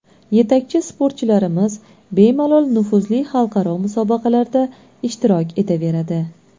Yetakchi sportchilarimiz bemalol nufuzli xalqaro musobaqalarda ishtirok etaveradi.